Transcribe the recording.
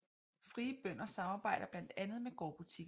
Frie bønder samarbejder blandt andet med gårdbutikkerne